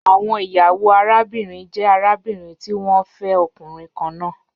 Awọn iyawo arabinrin jẹ arabinrin ti wọn fẹ ọkunrin kanna